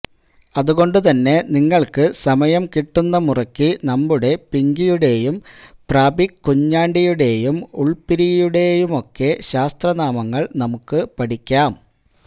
അതുകൊണ്ടു തന്നെ നിങ്ങള്ക്ക് സമയം കിട്ടുന്ന മുറയ്ക്ക് നമ്മുടെ പിങ്കിയുടെയും പ്രാപിക്കുഞ്ഞാണ്ടിയുടേയും ഉള്പിരിയുടെയുമൊക്കെശാസ്ത്രനാമങ്ങള്നമുക്ക് പഠിക്കാം